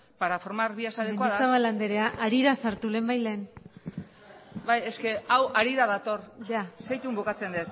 para formar vías adecuadas mendizabal andrea harira sartu lehenbailehen bai hau harira dator segituan bukatzen